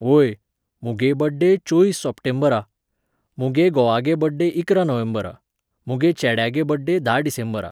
व्होय, मुगे बड्डे चोयीस सप्टेंबरा, मुगे घोवागे बड्डे इकरा नोव्हेंबरा, मुगे चेड्यागे बड्डे धा डिसेंबरा.